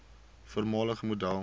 voormalige model